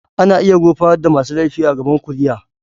Ana iya gurfanar da masu laifi a gaban kuliya.